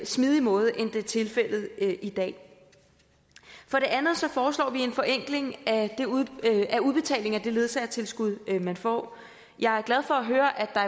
smidig måde end det er tilfældet i dag for det andet foreslår vi en forenkling af udbetalingen af det ledsagertilskud man får jeg er glad for at høre at der